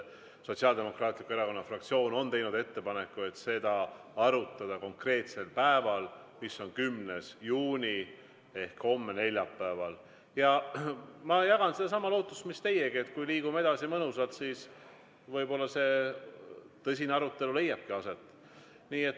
Sotsiaaldemokraatliku Erakonna fraktsioon on teinud ettepaneku, et seda arutada konkreetsel päeval, mis on neljapäev, 10. juuni ehk homme, ja ma jagan sedasama lootust mis teiegi, et kui liigume edasi mõnusalt, siis võib-olla see tõsine arutelu leiabki aset.